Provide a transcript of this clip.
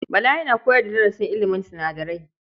Bala yana koyar da darasin ilimin sinadarai.